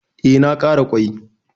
E, na ƙara ƙwai.